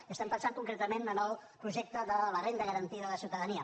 i pensem concretament en el projecte de la renda garantida de ciutadania